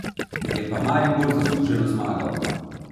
Je pa Maribor zasluženo zmagal.